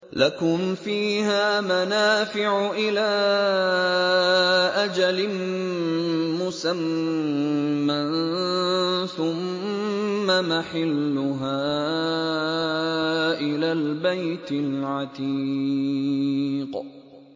لَكُمْ فِيهَا مَنَافِعُ إِلَىٰ أَجَلٍ مُّسَمًّى ثُمَّ مَحِلُّهَا إِلَى الْبَيْتِ الْعَتِيقِ